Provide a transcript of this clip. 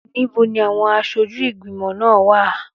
Níbo ni àwọn aṣojú ìgbìmọ̀ náà wà?